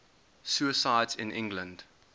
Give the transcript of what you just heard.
suicides in england